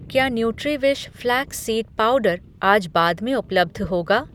क्या Nutriwish flax seed powder आज बाद में उपलब्ध होगा?